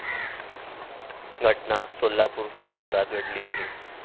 घटना सोलापूर शहरात घडली आहे.